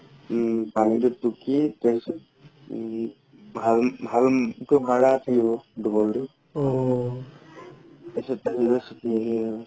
উম পানিটো টুকি তাৰ পিছত ভাল ভাল মাৰা থাকিব দি